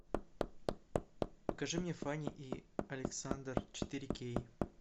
покажи мне фанни и александр четыре кей